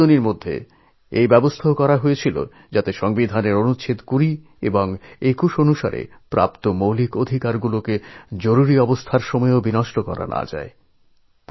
এই সংশোধনী প্রস্তাবে রাখা হয় যে সংবিধানের ২০ এবং ২১ নং অনুচ্ছেদ মিলে নাগরিকের মৌলিক অধিকারগুলিও যেন জরুরী অবস্থার কারণে কোনোভাবেই কেড়ে নেওয়া না হয়